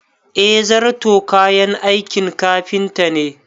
Eh zarto kayan aikin kafinta ne